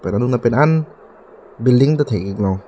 pen anung lapen an building ta thek ik long.